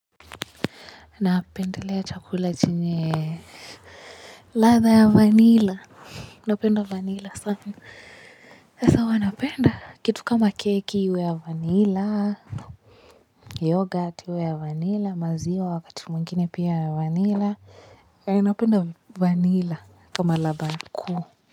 Napendelea chakula chenye latha ya vanilla napenda vanilla sana sasa huwa napenda kitu kama keki iwe ya vanilla yoghurt iwe ya vanilla maziwa wakati mwingine pia ya vanilla napenda vanilla kama ladha kuu.